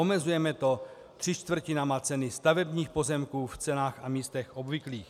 Omezujeme to třemi čtvrtinami ceny stavebních pozemků v cenách a místech obvyklých.